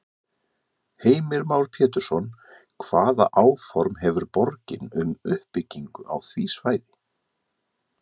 Heimir Már Pétursson: Hvaða áform hefur borgin um uppbyggingu á því svæði?